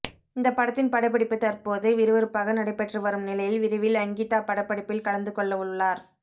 இந்த படத்தின் படப்பிடிப்பு தற்போது விறுவிறுப்பாக நடைபெற்று வரும் நிலையில் விரைவில் அங்கிதா படப்பிடிப்பில் கலந்து கொள்ளவுள்ளார்